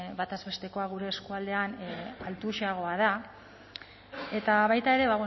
batez bestekoa gure eskualdean altuagoa da eta baita ere